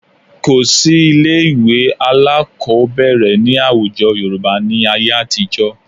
Kò sí ilé-ìwé alákọ̀ọ́bẹ̀rẹ̀ ní àwùjọ Yorùbá ní ayé àtijọ́